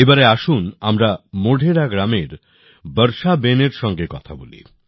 এবার আসুন আমরা মোঢেরা গ্রামের বর্ষাবেনের সঙ্গে কথা বলি